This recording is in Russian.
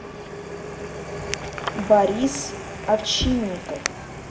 борис овчинников